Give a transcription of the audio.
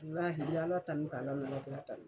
laahi n mɛ Ala tanu ka Ala n'alakira tanu.